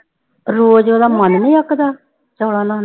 ਰੋਜ਼ ਉਹਦਾ ਮਨ ਨੀ ਅੱਕਦਾ, ਚੌਲਾਂ ਨਾਲ।